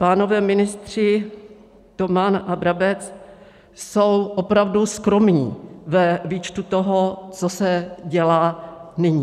Pánové ministři Toman a Brabec jsou opravdu skromní ve výčtu toho, co se dělá nyní.